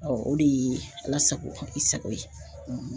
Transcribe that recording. o de ye Ala sago i sago ye.